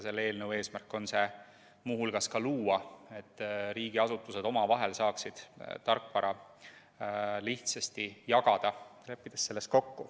Selle eelnõu eesmärk ongi muu hulgas see luua, et riigiasutused saaksid selles kokku leppides omavahel tarkvara lihtsasti jagada.